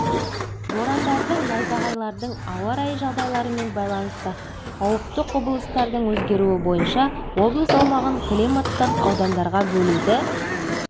борандардың найзағайлардың ауа райы жағдайларымен байланысты қауіпті құбылыстардың өзгеруі бойынша облыс аумағын климаттық аудандарға бөлуді